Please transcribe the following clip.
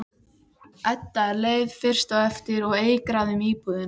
Edda er leið fyrst á eftir og eigrar um íbúðina.